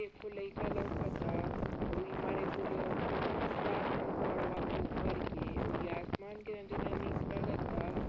एक ठो लाइक लउकता। अउरी मारे कुल फोटो खिंचवात हइन पहाड़वा कुल धर के और इ आसमान के केतना नीक लगता।